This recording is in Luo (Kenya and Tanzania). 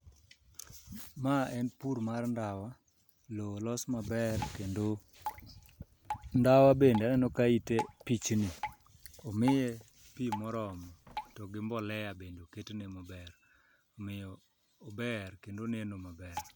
Ma en pur mar ndawa, lowo olos maber kendo ndawa bende aneno ka ite pichni, omiye pi moromo to gi mbolea bende oketne maber omiyo ober kendo oneno maber.